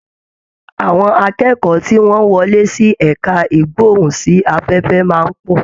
Àwọn akẹ́kọ̀ọ́ tí wọ́n wọlé sí ẹ̀ka ìgbóhùn sí afẹ́fẹ́ máa ń pọ̀